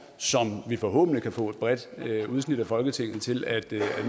som vi forhåbentlig kan få et bredt udsnit af folketinget til at